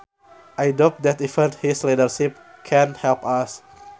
I doubt that even his leadership can help us